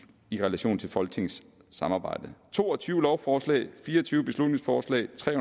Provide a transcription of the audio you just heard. i relation til folketingets samarbejde to og tyve lovforslag fire og tyve beslutningsforslag tre